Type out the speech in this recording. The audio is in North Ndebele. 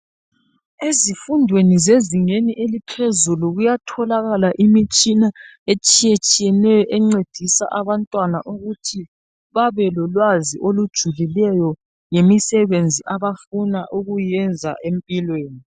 Ezifundweni zezingeni eliphezulu kuyatholakala imitshina etshiye tshiyeneyo encedisa abantwana ukuthi babelolwazi olojulileyo ngemisebenzi abafuna ukuyenza empilweni.